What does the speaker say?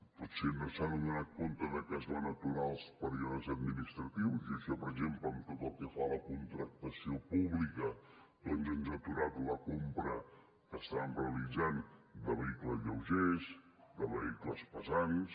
potser no s’ha adonat de que es van aturar els períodes administratius i això per exemple per tot el que fa a la contractació pública doncs ens ha aturat la compra que estàvem realitzant de vehicles lleugers de vehicles pesants